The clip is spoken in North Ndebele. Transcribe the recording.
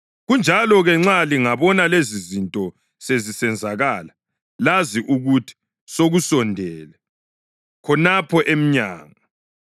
Kanjalo-ke nxa lingabona lezizinto sezisenzakala, lazi ukuthi sekusondele, khonapho emnyango.